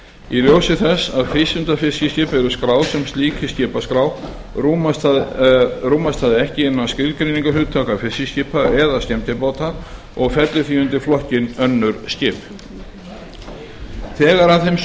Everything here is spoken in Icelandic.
í ljósi þess að frístundafiskiskip eru skráð sem slík í skipaskrána rúmast það ekki innan skilgreiningarhugtaka fiskiskipa eða skemmtibáta og fellur því undir flokkinn önnur skip þegar af þeim sökum